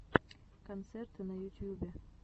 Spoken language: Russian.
концерты на ютьюбе